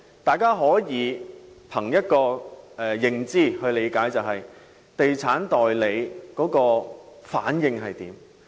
大家可以憑認知去理解，就是觀察地產代理的反應。